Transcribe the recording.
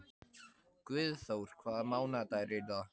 Guðþór, hvaða mánaðardagur er í dag?